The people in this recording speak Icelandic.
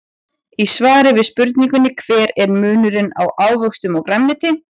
Í svari við spurningunni Hver er munurinn á ávöxtum og grænmeti?